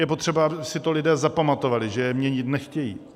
Je potřeba, aby si to lidé zapamatovali, že je měnit nechtějí.